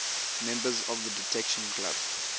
members of the detection club